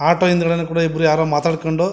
auto ಹಿಂದ್ಗಡೆನು ಇಬ್ರು ಯಾರೋ ಮಾತಾಡಕೊಂಡು--